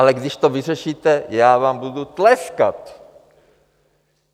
Ale když to vyřešíte, já vám budu tleskat.